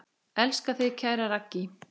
Elska þig, kæra Raggý.